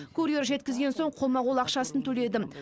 курьер жеткізген соң қолма қол ақшасын төледім